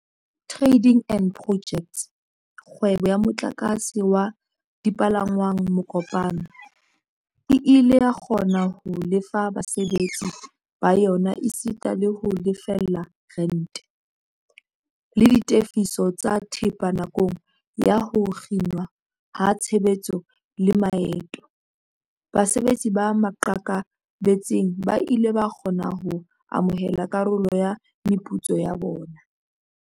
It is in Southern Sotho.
Tra-ding and Pojects, kgwebo ya motlakase wa dipalangwang Mokopane, e ile ya kgona ho lefa basebetsi ba yona esita le ho lefella rente, le ditefiso tsa thepa nakong ya ho kginwa ha tshebetso le maeto. Basebetsi ba maqakabetsing ba ile ba kgona ho amohela karolo ya meputso ya bona.